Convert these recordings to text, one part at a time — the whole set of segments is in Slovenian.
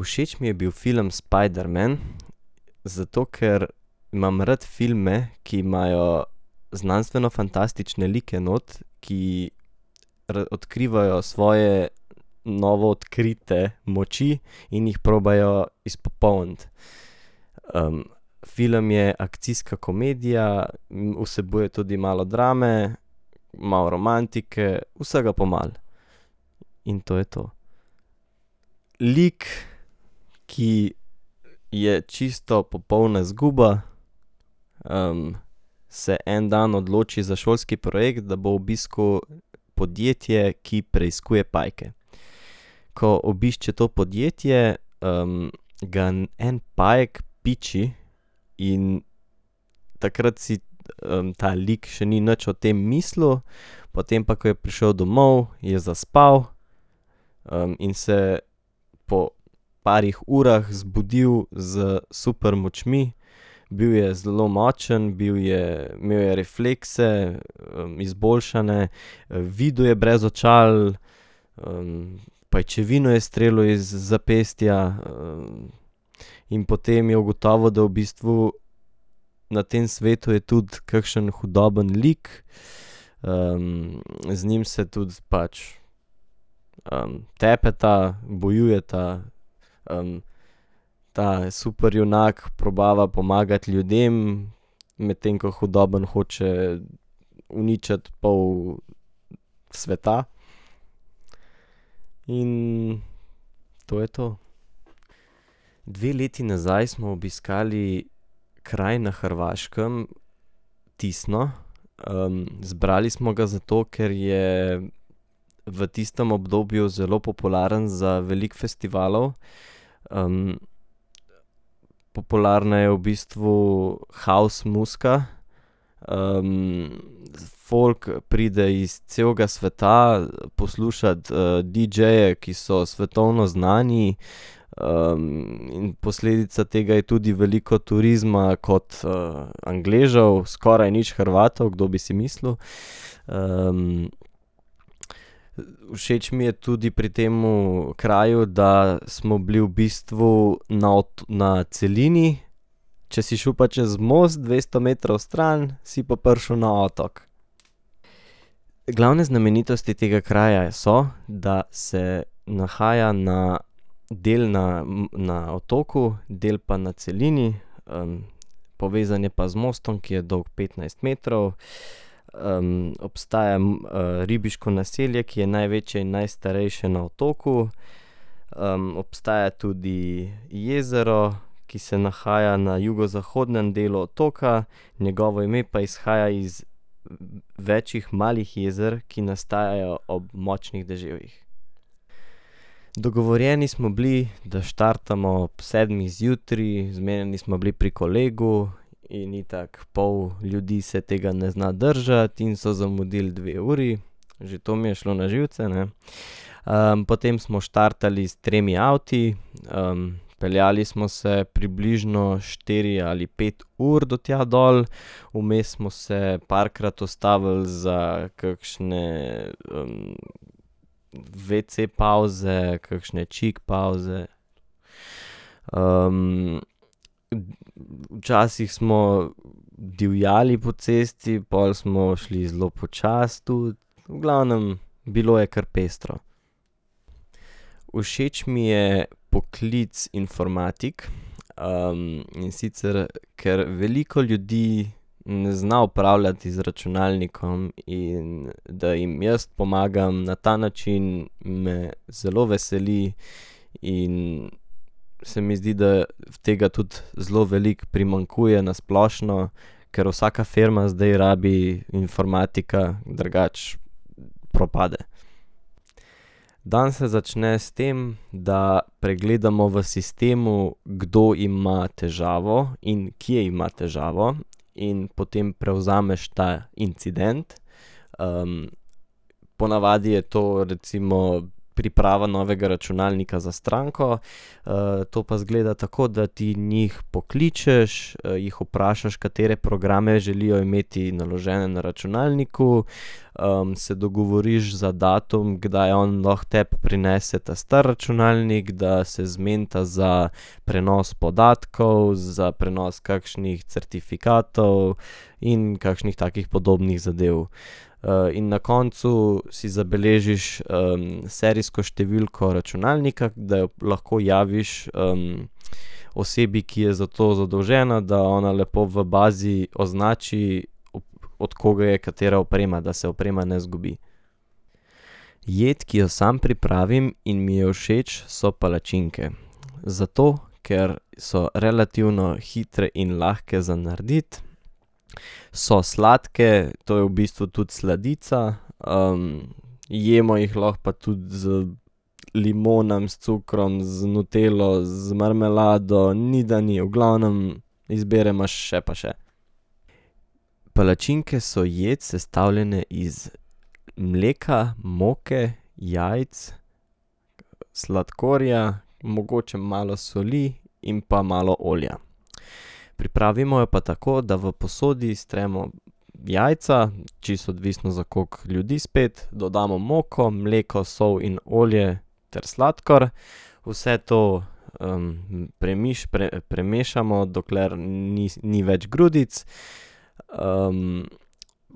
Všeč mi je bil film Spiderman, zato ker imam rad filme, ki imajo znanstvenofantastične like not, ki odkrivajo svoje novo odkrite moči in jih probajo izpopolniti. Film je akcijska komedija, vsebuje tudi malo drame, malo romantike, vsega po malo. In to je to. Lik, ki je čisto popolna zguba, se en dan odloči za šolski projekt, da bo obiskal podjetje, ki preiskuje pajke. Ko obišče to podjetje, ga en pajek piči in takrat si, ta lik še ni nič o tem mislil, potem pa ko je prišel domov, je zaspal, in se po parih urah zbudil s supermočmi. Bil je zelo močen, bil je, imel je reflekse, izboljšane, videl je brez očal, pajčevino je streljal iz zapestja, in potem je ugotovil, da v bistvu na tem svetu je tudi kakšen hudoben lik, z njim se tudi pač, tepeta, bojujeta, ta superjunak probava pomagati ljudem, medtem ko hudobni hoče uničiti pol sveta. In to je to. Dve leti nazaj smo obiskali kraj na Hrvaškem, Tisno, izbrali smo ga zato, ker je v tistem obdobju zelo popularen za veliko festivalov, popularna je v bistvu house muzika, folk pride iz celega sveta poslušat, didžeje, ki so svetovno znani, posledica tega je tudi veliko turizma, kot, Angležev, skoraj nič Hrvatov, kdo bi si mislil, , Všeč mi je tudi pri temu kraju, da smo bili v bistvu na na celini, če si šel pa čez most dvesto metrov stran, si pa prišel na otok. Glavne znamenitosti tega kraja so, da se nahaja na, del na na otoku, del pa na celini, povezan je pa z mostom, ki je dolgo petnajst metrov, . obstaja ribiško naselje, ki je največje in najstarejše na otoku, obstaja tudi jezero, ki se nahaja na jugozahodnem delu otoka, njegovo ime pa izhaja iz več malih jezer, ki nastajajo ob močnih deževjih. Dogovorjeni smo bili, da štartamo ob sedmih zjutraj, zmenjeni smo bili pri kolegu in itak pol ljudi se tega ne zna držati in so zamudili dve uri. Že to mi je šlo na živce, ne. potem smo štartali s tremi avti, peljali smo se približno štiri ali pet ur do tja dol, vmes smo se parkrat ustavili za kakšne, wc pavze, kakšne čik pavze. včasih smo divjali po cesti, pol smo šli zelo počasi tudi, v glavnem, bilo je kar pestro. Všeč mi je poklic informatik, in sicer ker veliko ljudi ne zna upravljati z računalnikom in da jim jaz pomagam na ta način, me zelo veseli in se mi zdi tega tudi zelo veliko primanjkuje na splošno, ker vsaka firma zdaj rabi informatika, drugače propade. Dan se začne s tem, da pregledamo v sistemu, kdo ima težavo in kje ima težavo, in potem prevzameš ta incident, ponavadi je to recimo priprava novega računalnika za stranko, to pa izgleda tako, da ti njih pokličeš, jih vprašaš, katere programe želijo imeti naložene na računalniku, , se dogovoriš za datum, kdaj on lahko tebi prinese ta stari računalnik, da se zmenita za prenos podatkov, za prenos kakšnih certifikatov in kakšnih takih podobnih zadev. in na koncu si zabeležiš, serijsko številko računalnika, da jo lahko javiš, osebi, ki je za to zadolžena, da ona lepo v bazi označi, od koga je katera oprema, da se oprema ne izgubi. Jed, ki jo sam pripravim in mi je všeč, so palačinke, zato ker so relativno hitre in lahke za narediti, so sladke, to je v bistvu tudi sladica, jemo jih lahko pa tudi z limonami, s cukrom, z nutello, z marmelado, ni da ni, v glavnem, izbire imaš še pa še. Palačinke so jed, sestavljene iz mleka, moke, jajc, sladkorja, mogoče malo soli in pa malo olja. Pripravimo jo pa tako, da v posodi stremo jajca, čisto odvisno, za koliko ljudi spet, dodamo moko, mleko, sol in olje ter sladkor, vse to, premešamo, dokler ni več grudic,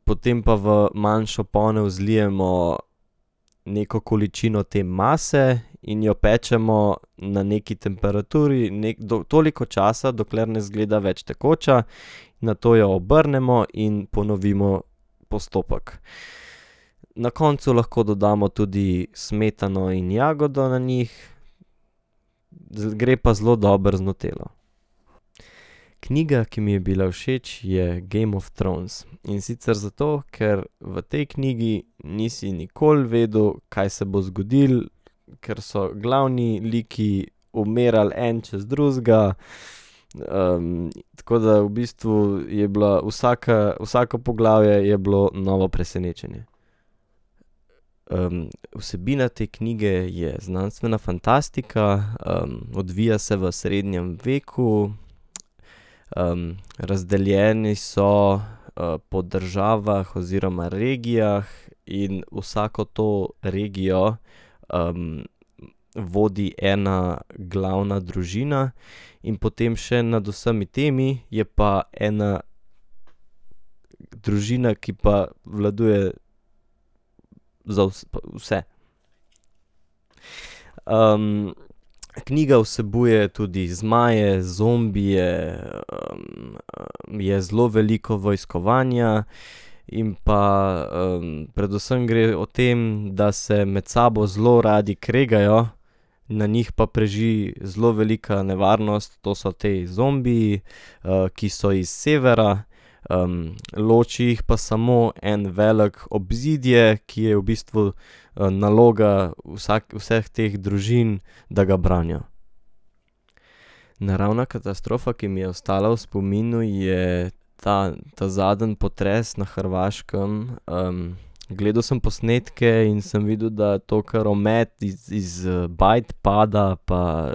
potem pa v manjšo ponev zlijemo neko količino te mase in jo pečemo na neki temperaturi, toliko časa, dokler ne izgleda več tekoča. Nato jo obrnemo in ponovimo postopek. Na koncu lahko dodamo tudi smetano in jagodo na njih, gre pa zelo dobro z nutelo. Knjiga, ki mi je bila všeč, je Game of Thrones. In sicer zato, ker v tej knjigi nisi nikoli vedel, kaj se bo zgodilo, ker so glavni liki umirali en čez drugega, tako da v bistvu je bila vsaka, vsako poglavje je bilo novo presenečenje. vsebina te knjige je znanstvena fantastika, odvija se v srednjem veku, , razdeljeni so, po državah oziroma regijah in vsako to regijo, vodi ena glavna družina in potem še nad vsemi temi je pa ena družina, ki pa vladuje za vse. knjiga vsebuje tudi zmaje, zombije, je zelo veliko vojskovanja in pa, predvsem gre o tem, da se med sabo zelo radi kregajo, na njih pa preži zelo velika nevarnost, to so ti zombiji, ki so iz severa, loči jih pa samo eno veliko obzidje, ki je v bistvu, naloga vseh teh družin, da ga branijo. Naravna katastrofa, ki mi je ostala v spominu, je ta ta zadnji potres na Hrvaškem, gledal sem posnetke in sem videl, da to kar omet iz, iz, bajt pada pa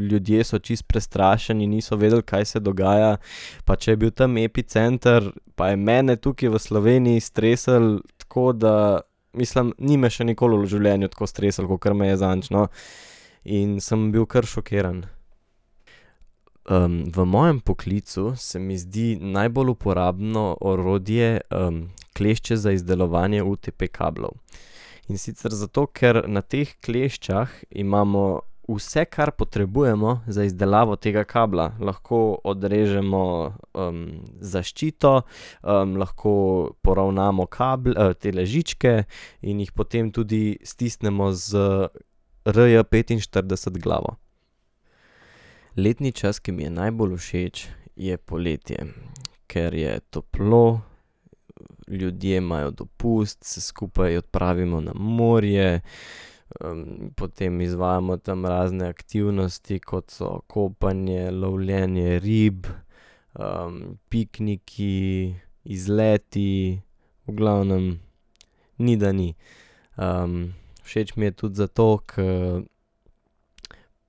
ljudje so čisto prestrašeni, niso vedeli, kaj se dogaja. Pa če je bil tam epicenter, pa je mene tukaj v Sloveniji streslo, tako da ... Mislim, ni me še nikoli v življenju tako streslo, kakor me je zadnjič, no. In sem bil kar šokiran. v mojem poklicu se mi zdi najbolj uporabno orodje, klešče za izdelovanje UTP-kablov. In sicer zato, ker na teh kleščah imamo vse, kar potrebujemo za izdelavo tega kabla, lahko odrežemo, zaščito, lahko poravnamo tele žičke in jih potem tudi stisnemo z RJpetinštirideset glavo. Letni čas, ki mi je najbolj všeč, je poletje, , ker je toplo ljudje imajo dopust, se skupaj odpravimo na morje, potem izvajamo tam razne aktivnosti, kot so kopanje, lovljenje rib, pikniki, izleti, v glavnem, ni da ni. všeč mi je tudi zato, ke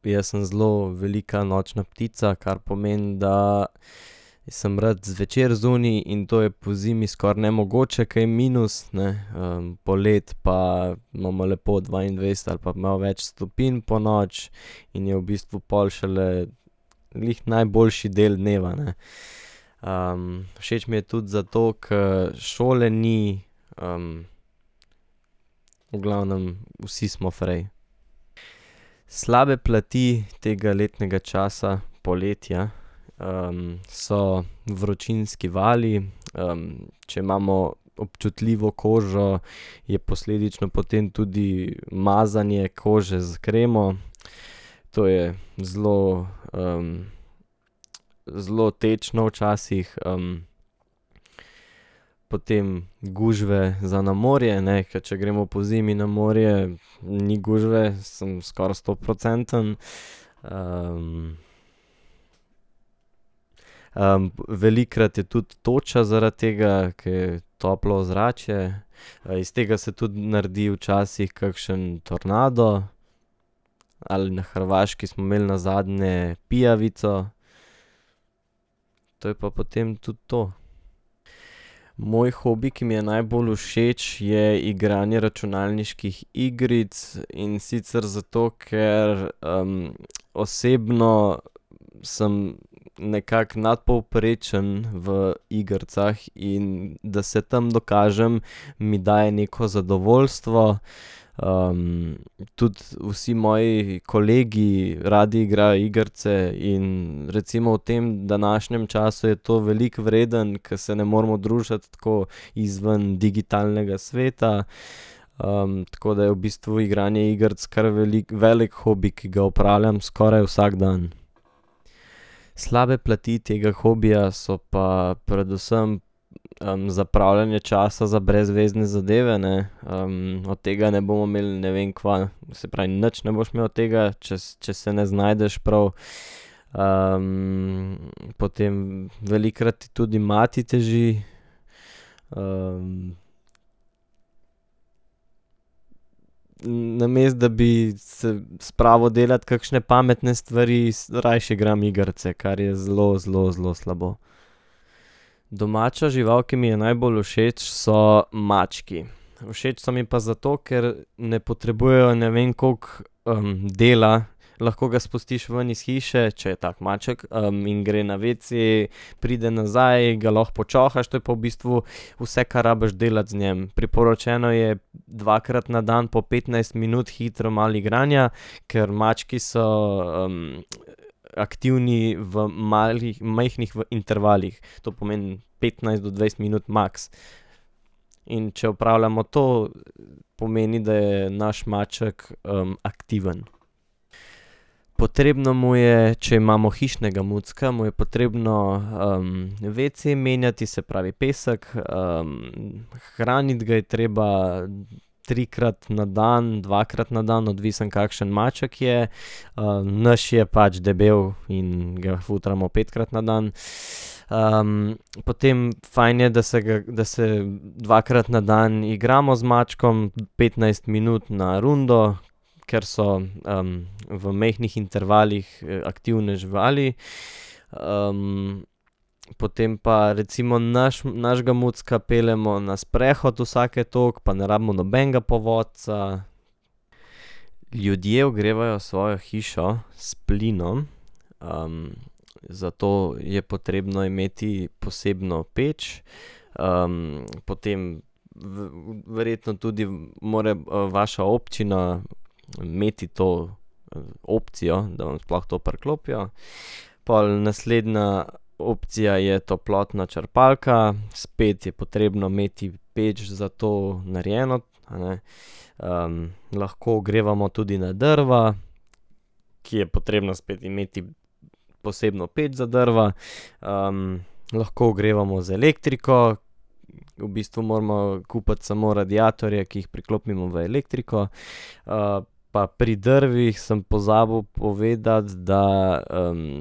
jaz sem zelo velika nočna ptica, kar pomeni, da sem rad zvečer zunaj, in to je pozimi skoraj nemogoče, ke je minus, ne, poleti pa imamo lepo dvaindvajset ali pa malo več stopinj ponoči in je v bistvu pol šele glih najboljši del dneva, ne. všeč mi je tudi zato, ke šole ni, v glavnem, vsi smo fraj. Slabe plati tega letnega časa, poletja, so vročinski vali, če imamo občutljivo kožo, je posledično potem tudi mazanje kože s kremo, to je zelo, zelo tečno včasih, Potem gužve za na morje, ne, ke če gremo pozimi na morje, ni gužve, sem skoraj stoprocenten, , velikokrat je tudi toča zaradi tega, ke je toplo ozračje, iz tega se tudi naredi včasih kakšen tornado, ali na Hrvaški smo imeli nazadnje bijavico, to je pa to potem tudi to. Moj hobi, ki mi je najbolj všeč, je igranje računalniških igric, in sicer zato ker, osebno sem nekako nadpovprečen v igricah in da se tam dokažem, mi daje neko zadovoljstvo, tudi vsi moji kolegi radi igrajo igrice in recimo v tem današnjem času je to veliko vredno, ke se ne moremo družiti tako izven digitalnega sveta, tako da je v bistvu igranje igric kar velik, velik hobi, ki ga opravljam skoraj vsak dan. Slabe plati tega hobija so pa predvsem, zapravljanje časa za brezvezne zadeve, ne, od tega ne bomo imeli ne vem kva, se pravi nič ne boš imel od tega, če če se ne znajdeš prav, potem velikokrat ti tudi mati teži, Namesto da bi se spravil delati kakšne pametne stvari, rajši igram igrice, kar je zelo, zelo, zelo slabo. Domača žival, ki mi je najbolj všeč, so mački. Všeč so mi pa zato, ker ne potrebujejo ne vem koliko, dela, lahko ga spustiš ven iz hiše, če je tak maček, in gre na wc, pride nazaj, ga lahko počohaš, to je pa v bistvu vse, kar rabiš delati z njim. Priporočeno je dvakrat na dan po petnajst minut hitro malo igranja, ker mački so, aktivni v malih, majhnih intervalih. To pomeni petnajst do dvajset minut maks. In če opravljamo to, pomeni, da je naš maček, aktiven. Potrebno mu je, če imamo hišnega mucka, mu je potrebno, wc menjati, se pravi pesek, hraniti ga je treba trikrat na dan, dvakrat na dan, odvisno, kakšen maček je, naš je pač debel in ga futramo petkrat na dan. potem fajn je, da se ga, da se dvakrat na dan igramo z mačkom petnajst minut na rundo, ker so, v majhnih intervalih, aktivne živali, , Potem pa recimo našega mucka peljemo na sprehod vsake toliko pa ne rabimo nobenega povodca. Ljudje ogrevajo svojo hišo s plinom, zato je potrebno imeti posebno peč, potem verjetno tudi mora, vaša občina imeti to, opcijo, da vam sploh to priklopijo. Pol naslednja opcija je toplotna črpalka, spet je potrebno imeti peč za to narejeno, a ne, lahko ogrevamo tudi na drva, ki je potrebno spet imeti posebno peč za drva, . lahko ogrevamo z elektriko, v bistvu moramo kupiti samo radiatorje, ki jih priklopimo v elektriko, pa pri drveh sem pozabil povedati, da,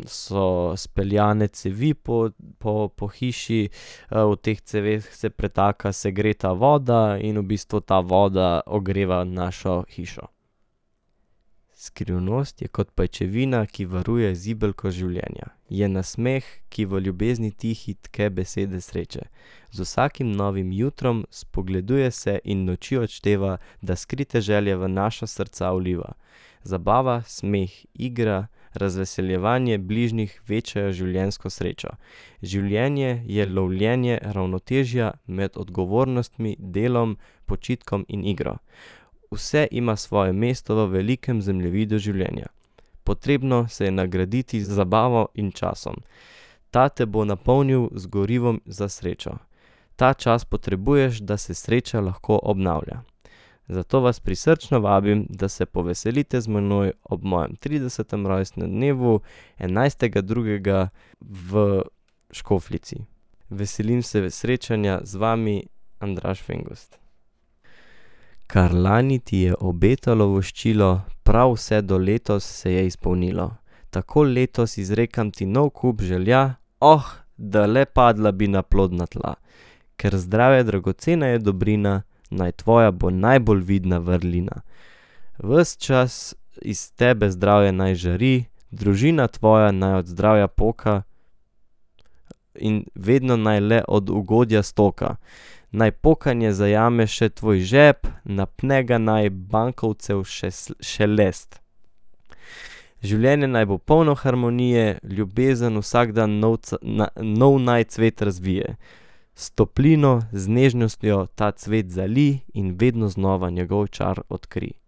so speljane cevi po, po, po hiši, v teh ceveh se pretaka segreta voda in v bistvu ta voda ogreva našo hišo. Skrivnost je kot pajčevina, ki varuje zibelko življenja. Je nasmeh, ki v ljubezni tihi tke besede sreče. Z vsakim novim jutrom spogleduje se in noči odšteva, da skrite želje v naša srca vliva. Zabava, smeh, igra, razveseljevanje bližnjih večajo življenjsko srečo. Življenje je lovljenje ravnotežja med odgovornostmi, delom, počitkom in igro. Vse ima svoje mesto v velikem zemljevidu življenja. Potrebno se je nagraditi z zabavo in časom. Ta te bo napolnil z gorivom za srečo. Ta čas potrebuješ, da se sreča lahko obnavlja. Zato vas prisrčno vabim, da se poveselite z menoj ob mojem tridesetem rojstnem dnevu, enajstega drugega v Škofljici. Veselim se srečanja z vami, [ime in priimek]. Kar lani ti je obetalo voščilo, prav vse do letos se je izpolnilo. Tako letos izrekam ti nov kup želja, da le padla bi na plodna tla. Ker zdravje dragocena je dobrina, naj tvoja bo najbolj vidna vrlina. Ves čas iz tebe zdravje naj žari, družina tvoja naj od zdravja poka in vedno naj le od ugodja stoka. Naj pokanje zajame še tvoj žep, napne ga naj bankovcev šelest. Življenje naj bo polno harmonije, ljubezen vsak dan novo naj cvet razvije. S toplino, z nežnostjo ta cvet zalij in vedno znova njegov čar odkrij.